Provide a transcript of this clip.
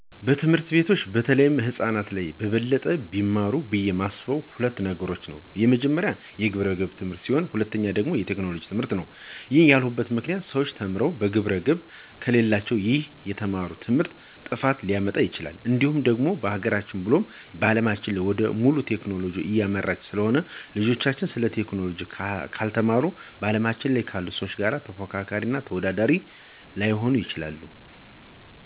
በትምህርት ቤቶች በተለይ ህፃናት ላይ በበለጠ ቢማሩት ብዬ የማስበው ሁለት ነገር ነው፤ የመጀመሪያው የግብረገብ ትምህርት ሲሆን ሁለተኛው ደግሞ የቴክኖሎጂ ትምህርትነው። ይህንን ያልኩበት ምክንያት ሰዎች ተምረው ግብረገብ ከሌላቸው ይህ የተማሩት ትምህርት ጥፋትን ሊያመጣ ይችላል፤ እንዲሁም ደግሞ ሀገራችን ብሎም አለማችን ወደ ሙሉ ቴክኖሎጂ እያመራች ስለሆነ ልጆችም ስለዚህ ቴክኖሎጂ ካልተማሩ ከአለማችን ካሉ ሰዎች ጋር ተፎካካሪ እና ተወዳዳሪ ላይሆኑ ይችላሉ።